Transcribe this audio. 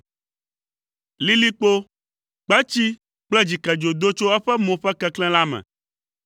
Lilikpo, kpetsi kple dzikedzo do tso eƒe mo ƒe keklẽ la me.